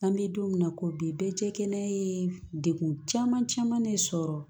An bɛ don min na ko bi bɛɛ cɛ kelen ye degun caman caman ne sɔrɔ